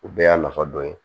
O bɛɛ y'a nafa dɔ ye